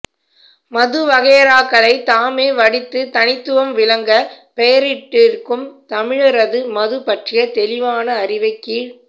மது வகையறாக்களைத் தாமே வடித்துத் தனித்துவம் விளங்கப் பெயரிட்டிருக்கும் தமிழரது மது பற்றிய தெளிவான அறிவைக் கீழ்க்